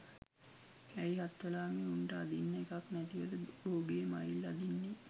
ඇයි හත්වලාමේ උන්ට අදින්න එකක් නැතිවද බෝගේ මයිල් අදින්නේ